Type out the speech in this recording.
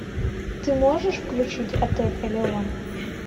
ты можешь включить отель элеон